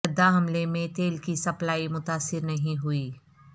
Jeddah حملے میں تیل کی سپلائی متاثر نہیں ہوئی